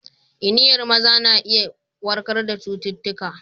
Iniyan maza na iya warkar da cututtuka.